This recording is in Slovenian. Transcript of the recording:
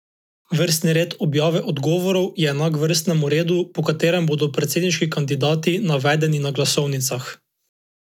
Vrstni red objave odgovorov je enak vrstnemu redu, po katerem bodo predsedniški kandidati navedeni na glasovnicah.